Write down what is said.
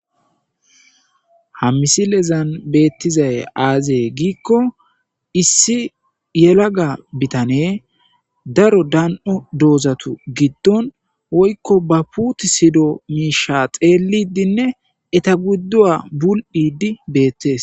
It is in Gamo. ha misilezan beettizay aazee giikko issi yelaga bitane daro dan7o doozatu giddon woykko ba puuti sido miisha xeellidinne eta gudduwa bul7idi beettes